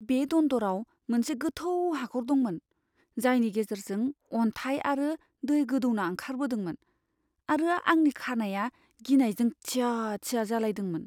बे दन्दराव मोनसे गोथौ हाखर दंमोन, जायनि गेजेरजों अन्थाइ आरो दै गोदौना ओंखारबोदोंमोन आरो आंनि खानाइया गिनायजों थिया थिया जालायदोंमोन।